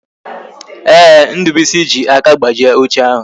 Ee, Ndubuisi ji aka gbajie oche ahụ